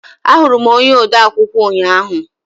Ahụrụ m onye odeakwụkwọ ụnyaahụ.